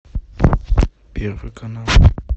первый канал